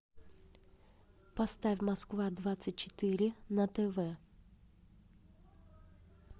поставь москва двадцать четыре на тв